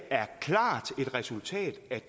er klart et resultat af